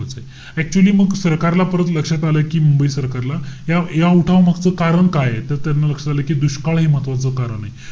Actually मग सरकारला परत लक्षात आलं. कि मुंबई सरकारला, ह्या~ ह्या उठावामागचं कारण काये. त त्यांना लक्षात आलं कि दुष्काळ हे महत्वाचं कारण आहे.